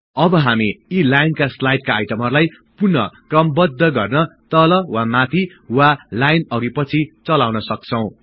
अब हामी यी लाईनका स्लाडका आईटमहरुलाई पुन क्रमबद्ध गर्न तल वा माथि वा लाईन अघि पछि चलाउन सक्छौं